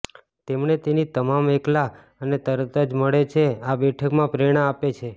તેમણે તેની તમામ એકલા અને તરત જ મળે છે આ બેઠકમાં પ્રેરણા આપે છે